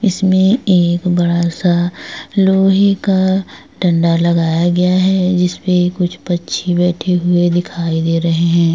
इसमें एक बड़ा सा लोहे का डंडा लगाया गया है जिसमे कुछ पंछी बैठे हुए दिखाई दे रहे हैं ।